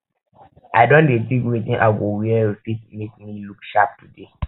i don dey think wetin i go wear wey fit make me look sharp today